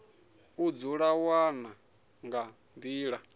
u dzi wana nga nḓila